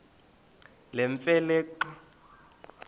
nemfe le xa